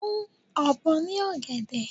Fun obo na ogede